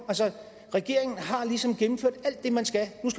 regeringen har ligesom gennemført alt det man skal